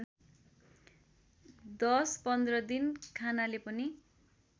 १० १५ दिन खानाले पनि